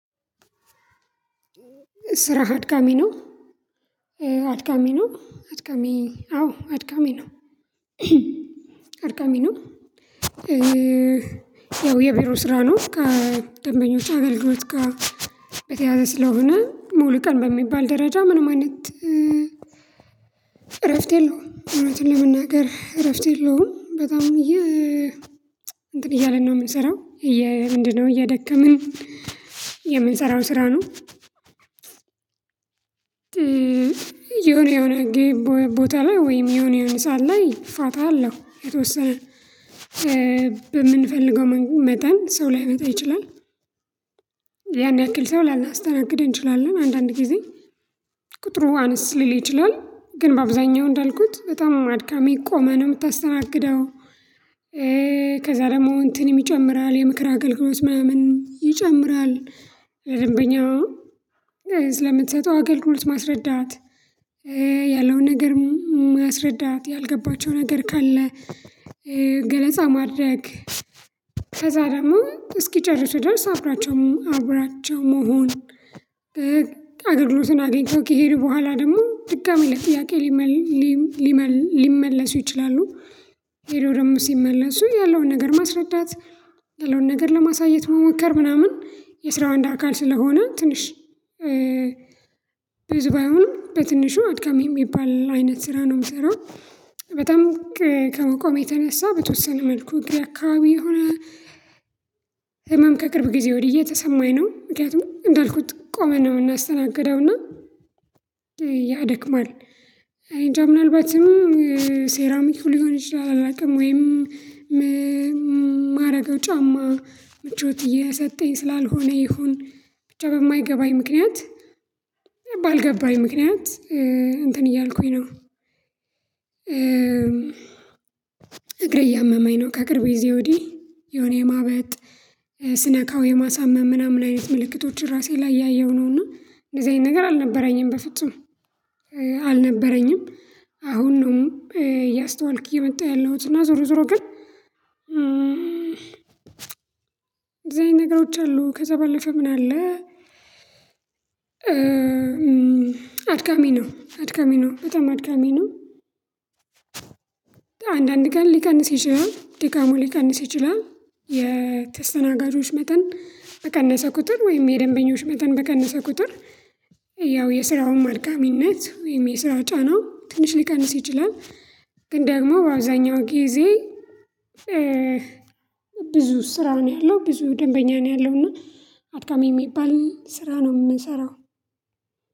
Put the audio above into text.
ስራ አድካሚ ነው አድካሚ ነው አድካሚ አዎ አድካሚ ነው አድካሚ ነው። ያው የቢሮ ስራ ነው ከደንበኞች አገልግሎት ጋር በተያያዘ ስለሆነ ሙሉ ቀን በሚባል ደረጃ ምንም አይነት እረፍት የለውም። እውነቱን ለመናገር እረፍት የለውም። በጣም የ እንትን እያለን ነው የምንሰራው። ምንድነው? እያደከመን የምንሰራው ስራ ነው። ያው የቢሮ ስራ ነው ከደንበኞች አገልግሎት ጋር በተያያዘ ስለሆነ ሙሉ ቀን በሚባል ደረጃ ምንም አይነት እረፍት የለውም። እውነቱን ለመናገር እረፍት የለውም። በጣም የ ቁጥሩ አነስ ሊል ይችላል ግን በአብዛኛው እንዳልኩት በጣም አድካሚ ቆመን ነው የምታስተናግደው። ከዛ ደግሞ እንትንም ይጨምራል የምክር አገልግሎት ምናምን ይጨምር ለደንበኛ ስለምትሰጠው አገልግሎት ማስረዳት ያለውን ነገር ማስረዳት ያልገባቸው ነገር ካለ ገለጻ ማድረግ ከዛ ደግሞ እስኪጨርሱ ድረስ አብራቸው አብራቸው መሆን አገልግሎትን አግኝተው ከሄድ በኋላ ደግሞ ድጋሚ ለጥያቄ ሊመለሱ ይችላሉ። ሄደው ደግሞ ሲመለሱ ያለውን ነገር ማስረዳት ያለውን ነገር ለማሳየት መሞከር ምናምን የስራው አንድ አካል ስለሆነ ትንሽ ብዙ ባይሆንም በትንሹ አድካሚ የሚባል አይነት ስራ ነው የምሰራው። በጣም ከመቆሜ የተነሳ በተወሰነ መልኩ እግሬ አካባቢ የሆነ ህመም ከቅርብ ጊዜ ወዲህ እየተሰማኝ ነው። ምክንያቱም እንዳልኩት ቆመን ነው እናስተናግደውና ያደክማል። እኔንጃ ምናልባትም ሴራሚኩ ሊሆን ይችላል አላውቅም ወይም ማረገው ጫማ ምቾት እየሰጠኝ ስላልሆነ ይሁን ብቻ በማይገባኝ ምክንያት ባልገባኝ ምክንያት እንትን እያልኩኝ ነው። እግሬ እያመመኝ ነው ከቅርብ ጊዜ ወዲህ የሆነ የማበጥ ስነካው የማሳመም ምናምን አይነት ምልክቶችን ራሴ ላይ እያየው ነው። እና እንደዚህ አይነት ነገር አልነበረኝም በፍጹም። አልነበረኝም አሁን ነው እያስተዋልክ እየመጣህ ያለሁት እና ዞሮ ዞሮ ግን እንደዚህ አይነት ነገሮች አሉ። ከዛ ባለፈ ምን አለ? አድካሚ ነው አድካሚ ነው በጣም አድካሚ ነው። አንዳንድ ቀን ሊቀንስ ይችላል ድካሙ ሊቀንስ ይችላል። የተስተናጋጆች መጠን በቀነሰ ቁጥር ወይም የደንበኞች መጠን በቀነሰ ቁጥር ያው የስራውም አድካሚነት ወይም የስራ ጫናው ትንሽ ሊቀንስ ይችላል። ግን ደግሞ በአብዛኛው ጊዜ ብዙ ስራ ነው ያለው ብዙ ደንበኛ ነው ያለው እና አድካሚ የሚባል ስራ ነው የምንሰራው።